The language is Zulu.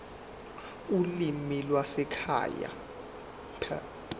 ulimi lwasekhaya p